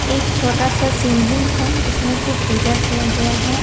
एक छोटा सा शिवलिंग है जिसमें की पूजा किया गया है।